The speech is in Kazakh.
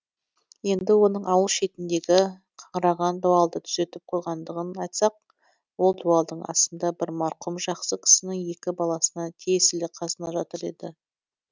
енді оның ауыл шетіндегі қаңыраған дуалды түзетіп қойғандығын айтсақ ол дуалдың астында бір марқұм жақсы кісінің екі баласына тиесілі қазына жатыр еді